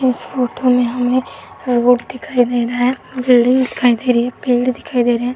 इस फोटो में हमें रोबोट दिखाई दे रहा है। बिल्डिंग दिखाई दे रही है। पेड़ दिखाई दे रहे हैं।